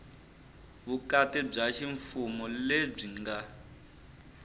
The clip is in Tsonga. vukati bya ximfumo lebyi nga